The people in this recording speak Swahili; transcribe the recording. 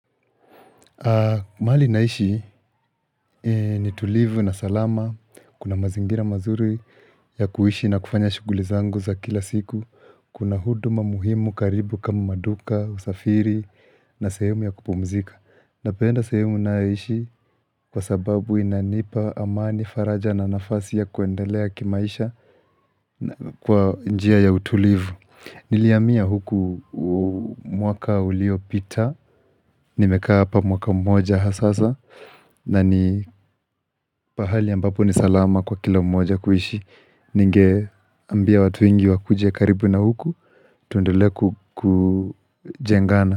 Mahali naishi ni tulivu na salama. Kuna mazingira mazuri ya kuishi na kufanya shughuli zangu za kila siku. Kuna huduma muhimu karibu kama maduka, usafiri na sehemu ya kupumzika. Napenda sehemu ninayoishi kwa sababu inanipa amani faraja na nafasi ya kuendelea kimaisha na kwa njia ya utulivu. Nilihamia huku mwaka uliopita Nimekaa hapa mwaka mmoja ha sasa na ni pahali ambapo ni salama kwa kila mmoja kuishi Ningeambia watu wengi wakuje karibu na huku tuendelee ku kujengana.